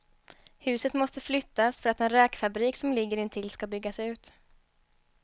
Huset måste flyttas för att en räkfabrik som ligger intill ska byggas ut.